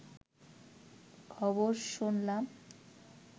খবর শুনলাম